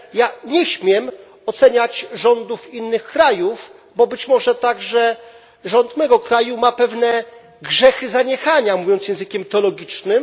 Ja nie śmiem oceniać rządów innych krajów, bo być może także rząd mego kraju ma pewne grzechy zaniechania, mówiąc językiem teologicznym.